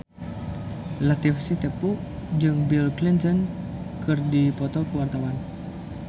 Latief Sitepu jeung Bill Clinton keur dipoto ku wartawan